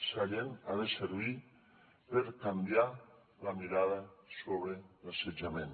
sallent ha de servir per canviar la mirada sobre l’assetjament